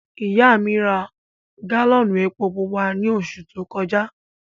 Ìyà mi rá gálọ́nù èpò púpà ní ọṣù tó kọja.